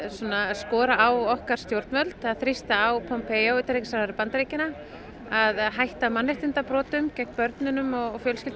skora á okkar stjórnvöld að þrýsta á Pompeo utanríkisráðherra Bandaríkjanna að hætta mannréttindabrotum gegn börnum og fjölskyldum